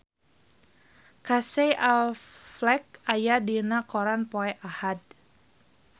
Casey Affleck aya dina koran poe Ahad